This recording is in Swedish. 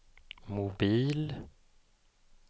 mobil